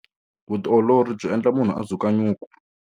Vutiolori byi endla munhu a dzuka nyuku.